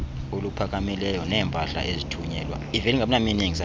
oluphakamileyo neempahla ezithunyelwa